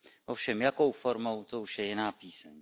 Ovšem jakou formou, to už je jiná píseň.